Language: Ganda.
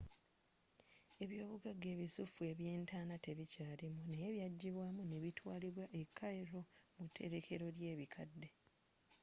ebyoobugagga ebisuffu ebyentaana tebikyaalimu naye byajjibwaamu ne bitwaalibwa e cairo mu terekkero lyebikadde